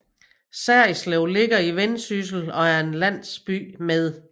Serritslev ligger i Vendsyssel og er en landsby med